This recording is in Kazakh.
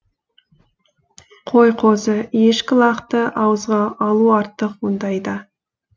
қой қозы ешкі лақты ауызға алу артық мұндайда